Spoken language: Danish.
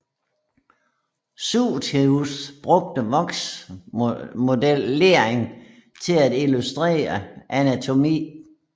Curtius brugte voksmodellering til at illustrere anatomi